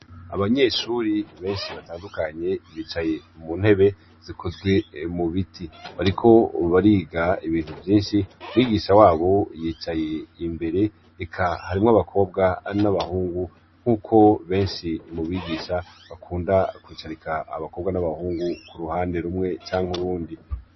Abanyeshuri benshi batandukanye bicaye mu ntebe zikozwe mu biti bariko bariga ibintu vyinshi mwigisha wabo yicaye imbere ika harimwo abakobwa ari n'abahungu nk'uko benshi mu bigisha bakunda kwicarika abakobwa n'abahungu ku ruhande rumwe canke uwundi.